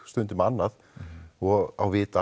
stundum annað og á vit